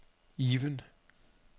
Even